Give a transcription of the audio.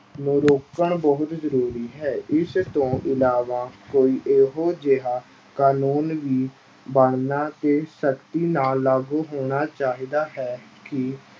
ਨੂੰ ਰੋਕਣ ਬਹੁਤ ਜ਼ਰੂਰੀ ਹੈ ਇਸ ਤੋਂ ਇਲਾਵਾ ਕੋਈ ਇਹੋ ਜਿਹਾ ਕਾਨੂੰਨ ਵੀ ਬਣਨਾ ਤੇ ਸਖ਼ਤੀ ਨਾਲ ਲਾਗੂ ਹੋਣਾ ਚਾਹੀਦਾ ਹੈ ਕਿ